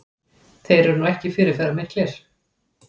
Þeir eru nú ekki fyrirferðarmiklir